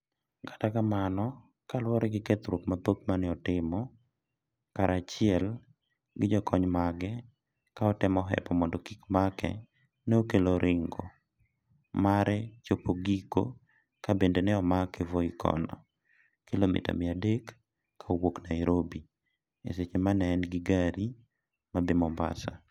Kata kamano kaluwore gi kethruok mathoth maneotimo kara chiel gi jokony mage ka otemo hepo mondo kik make ne okelo ringo mare chopo giko ka bende ne omake Voi kono , kilomita mia adek ka owuok Nairobi, e seche ma ne en i gari ma dhi mombasa